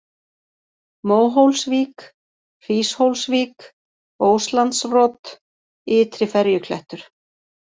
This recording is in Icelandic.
Móhólsvík, Hríshólsvík, Óslandsrot, Ytri-Ferjuklettur